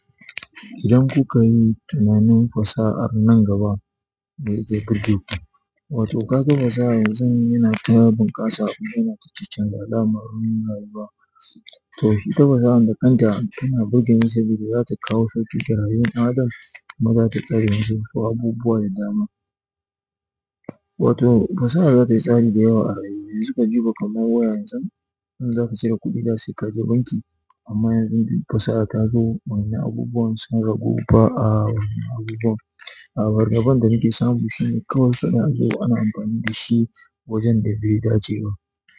Idan kuka yi tunanin fasahar nan gaba mai jaddabo, wato ka ga fasaha zai yi na tayi bunƙasa, yana ta ci canza al'amuran rayuwa. To ita fasahar da kanta tana burga ni, sabida zata kawo sauƙi ga rayuwan ɗan adam kuma zata tsare ni zuwa abubuwa da dama. Wato fasaha za ta yi tsari da yawa a rayuwa, suka jefa kamar waya yanzu idan zaka cire kuɗi zaka je banki amma yanzu fasaha ta zo wa'innan abubuwan sun ragu ba a wannan abubuwan. A fargaban da nake samu shine kawai suna zuwa ana amfani da shi wajen da bai dace ba.